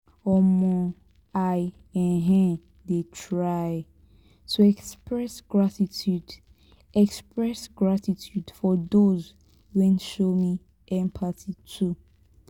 um i um dey try to express gratitude express gratitude for those wey show me empathy too.